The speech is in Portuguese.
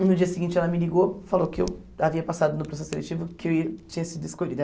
E no dia seguinte ela me ligou, falou que eu havia passado no processo seletivo, que eu ia tinha sido escolhida.